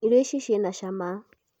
irio ici cina cama